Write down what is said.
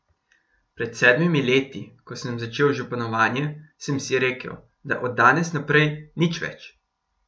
Pred sedmimi leti, ko sem začel županovanje, sem si rekel, da od danes naprej nič več.